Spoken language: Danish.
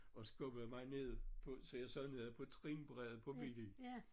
Og skubbede mig ned på så jeg sad nede på trinbrættet på bilen